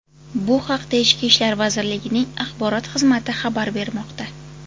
Bu haqda Ichki ishlar vazirligining axborot xizmati xabar bermoqda .